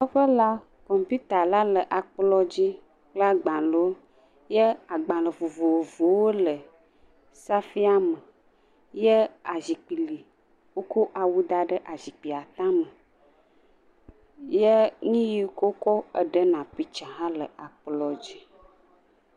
Zikpui, awu aɖe le zipkui la dzi. Agbale kple emɔ aɖe le ekplɔa dzi. Kaƒomɔ hã le ekplɔa dzi kpakple nyaletasi hã le kplɔa dzi. Gbalewo le kabɔdiawo me le xɔa me.